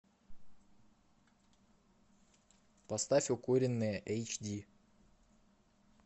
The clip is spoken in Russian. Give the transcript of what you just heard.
поставь укуренные эйч ди